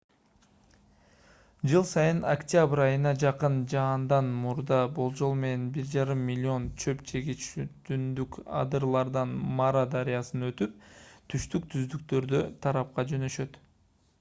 жыл сайын октябрь айына жакын жаандан мурда болжол менен 1,5 млн чөп жегич түндүк адырлардан мара дарыясынан өтүп түштүк түздүктөрү тарапка жөнөшөт